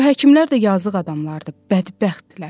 Bu həkimlər də yazıq adamlardır, bədbəxtdirlər.